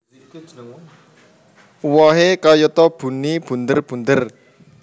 Uwohe kayata buni bunder bunder